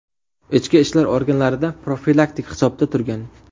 Ichki ishlar organlarida profilaktik hisobda turgan.